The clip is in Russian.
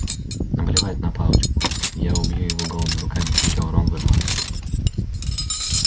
наплевать на палочку я убью его голыми руками кричал рон вырываясь